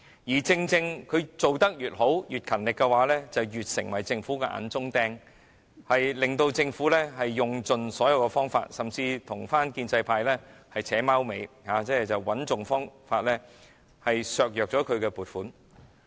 然而，正正是港台做得越好、越勤力，它便越成為政府的眼中釘，以致政府須用盡所有方法，甚至是與建制派"扯貓尾"，設法削減港台的撥款。